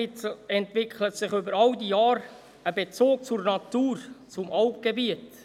Klar entwickelt sich in all den Jahren ein Bezug zur Natur, zum Alpgebiet.